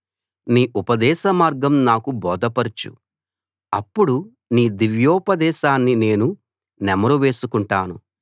నీ ఉపదేశమార్గం నాకు బోధపరచు అప్పుడు నీ దివ్యోపదేశాన్ని నేను నెమరు వేసుకుంటాను